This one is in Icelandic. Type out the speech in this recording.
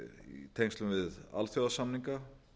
í tengslum við alþjóðasamninga